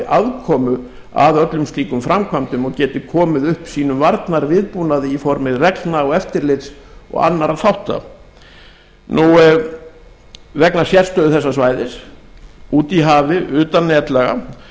aðkomu að öllum slíkum framkvæmdum og geti komið upp sínum varnarviðbúnaði í formi reglna og eftirlits og annarra þátta vegna sérstöðu þessa svæðis úti í hafi utan netlaga